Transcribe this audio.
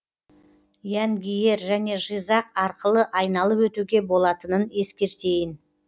янгиер және жизақ арқылы айналып өтуге болатынын ескертейін